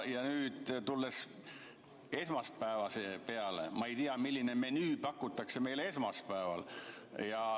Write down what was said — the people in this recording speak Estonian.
Tulles esmaspäeva juurde, siis ma ei tea, millist menüüd pakutakse meile esmaspäeval.